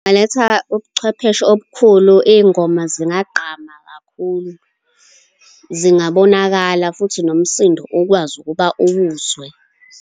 Ngingaletha ubuchwepheshe obukhulu, iy'ngoma zingagqama kakhulu. Zingabonakala, futhi nomsindo ukwazi ukuba uwuzwe.